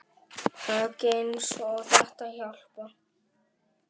Högg eins og þetta hjálpa